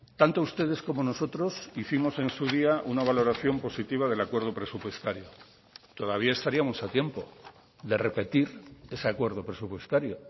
tanto ustedes como nosotros hicimos en su día una valoración positiva del acuerdo presupuestario todavía estaríamos a tiempo de repetir ese acuerdo presupuestario